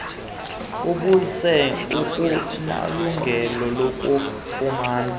obuzenza akunalungelo lakufumana